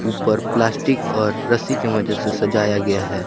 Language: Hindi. पर प्लास्टिक और रस्सी की वजह से सजाया गया है।